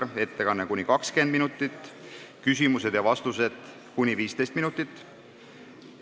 Tema ettekanne kestab kuni 20 minutit, küsimused ja vastused kestavad kuni 15 minutit.